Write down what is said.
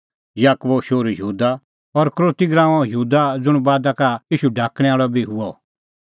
याकूबो शोहरू यहूदा और इसकरोती गराऊंओ यहूदा ज़ुंण बादा का ईशू ढाकणैं आल़अ बी हुअ